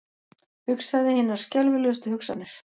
Hugsaði hinar skelfilegustu hugsanir.